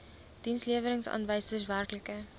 dienslewerings aanwysers werklike